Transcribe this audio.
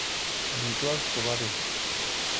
Amitwogik chebo bet.